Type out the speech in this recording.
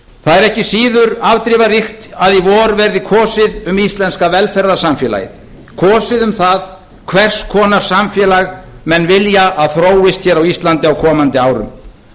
það er ekki síður afdrifaríkt að í vor verði kosið um íslenska velferðarsamfélagið kosið um það hvers konar samfélag menn vilja að þróist hér á íslandi á komandi árum